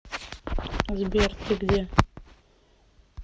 сбер ты где